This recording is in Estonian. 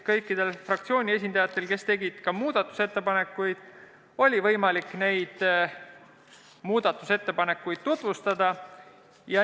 Kõikidel fraktsioonide esindajatel, kes tegid muudatusettepanekuid, oli võimalik neid tutvustada.